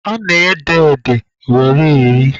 A na-ede ede were eri